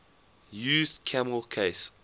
used camel case